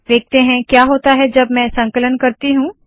देखते है क्या होता है जब मैं संकलन करती हूँ